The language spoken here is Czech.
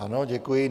Ano, děkuji.